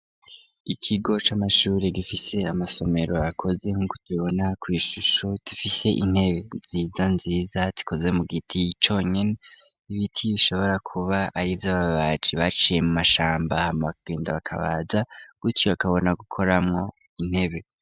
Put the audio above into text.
Ikigo c'amashuri gifise amasomero akoze nk'uko tubibona kw'ishusho dufise intebe nziza nziza tikoze mu giti conyene ibiti yoishobora kuba ari vyo ababaji baciye mu mashamba hama agenda bakabaja guto akabona gukoramwo intebe.